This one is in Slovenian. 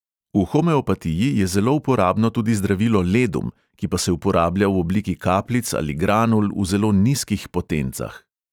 V homeopatiji je zelo uporabno tudi zdravilo ledum, ki pa se uporablja v obliki kapljic ali granul v zelo nizkih potencah.